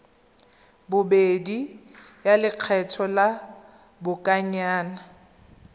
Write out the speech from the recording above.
bobedi ya lekgetho la lobakanyana